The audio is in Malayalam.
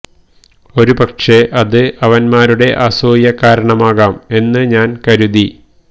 ഒരു പക്ഷെ അത് അവന്മാരുടെ അസൂയ കാരണമാകാം എന്ന് ഞാന് കരുതി